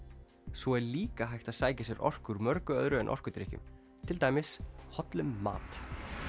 svo er líka hægt að sækja sér orku úr mörgu öðru en orkudrykkjum til dæmis hollum mat